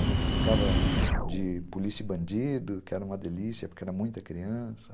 A gente brincava de polícia e bandido, que era uma delícia, porque era muita criança.